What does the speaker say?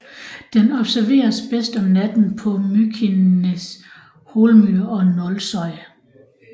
Den observeres bedst om natten på Mykines hólmur og Nólsoy